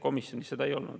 Komisjonis seda ei olnud.